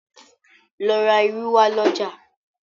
lọ rá ìrù wa l'ọja